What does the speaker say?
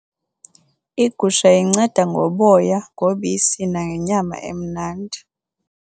Igusha inceda ngoboya, ngobisi nangenyama emnandi.